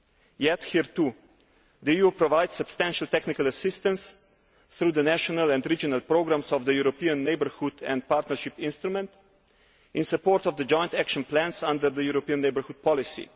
Yet here, too, the EU provides substantial technical assistance through the national and regional programmes of the European Neighbourhood and Partnership Instrument in support of the joint action plans under the European neighbourhood policy.